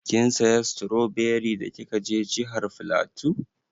Kin saya stroberi da kika je jihar flatu?